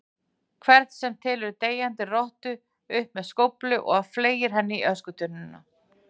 hvern sem tekur deyjandi rottu upp með skóflu og fleygir henni í öskutunnuna.